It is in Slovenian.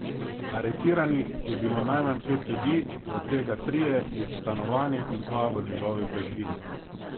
Aretiranih je bilo najmanj pet ljudi, od tega trije iz stanovanja in dva v njegovi bližini.